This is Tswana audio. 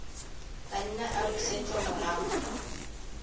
ka nna a busetsa morago